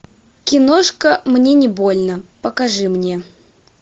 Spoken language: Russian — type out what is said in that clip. киношка мне не больно покажи мне